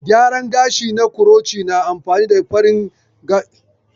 Gyaran gashi na kuroci na amfani da ƙarin gashi wajen yin daburbarun kitso cikin sauƙi